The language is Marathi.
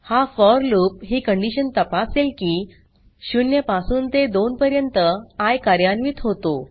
हा फोर लूप ही कंडीशन तापासेल की 0 पासून ते 2 पर्यंत आय कार्यान्वित होतो